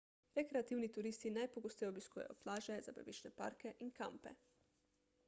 rekreativni turisti najpogosteje obiskujejo plaže zabaviščne parke in kampe